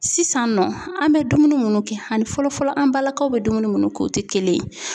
Sisan nɔ, an bɛ dumuni minnu kɛ, ani fɔlɔ fɔlɔ ,an balakaw bɛ dumuni minnu kɛ, o tɛ kelen ye.